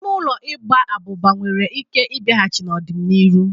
Ime ụlọ Ịgba abuba nwere ike ịbịahachi n'ọdịnihu.